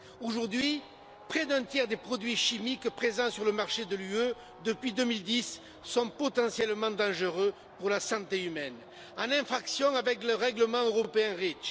Aujourd'hui, près d'un tiers des produits chimiques présents sur le marché de l'Union européenne depuis 2010 sont potentiellement dangereux pour la santé humaine, en infraction avec le règlement européen REACH.